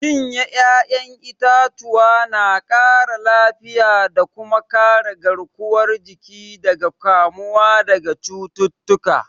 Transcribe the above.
Cin 'ya'yan itatuwa na ƙara lafiya da kuma kare garkuwar jiki daga kamuwa daga cututtuka.